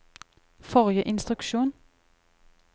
forrige instruksjon